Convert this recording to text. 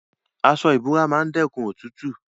Aso ibora maa n dekun otutu